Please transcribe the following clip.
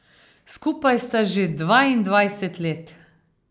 Skupaj sta že dvaindvajset let.